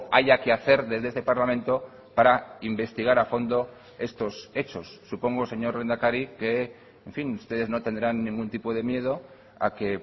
haya que hacer desde este parlamento para investigar a fondo estos hechos supongo señor lehendakari que en fin ustedes no tendrán ningún tipo de miedo a que